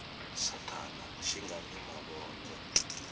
sathana xi nga ni mavondzo